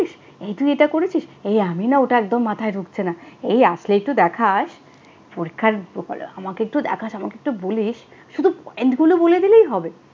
এই তুই এটা করেছিস? এই আমি না ওটা একদম মাথায় ঢুকছে না, এই আসলে একটু দেখাস। পরীক্ষার আমাকে একটু দেখাস, আমাকে একটু বলিস। শুধু point গুলো বলে দিলেই হবে।